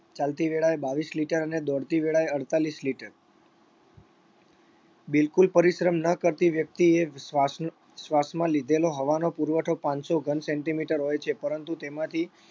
ચાલતી વેળાએ બાવીસ liter અને દોડતી વેળાએ અડતાલીસ liter બિલકુલ પરિશ્રમ ન કરતી વ્યક્તિએ શ્વાસ શ્વાસમાં લીધેલો હવાનો પુરવઠો પાંચસો ઘન centimeter હોય છે પરંતુ તેમાંથી